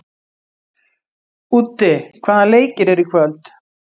Úddi, hvaða leikir eru í kvöld?